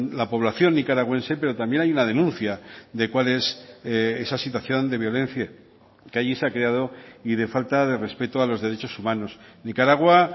la población nicaragüense pero también hay una denuncia de cuál es esa situación de violencia que allí se ha creado y de falta de respeto a los derechos humanos nicaragua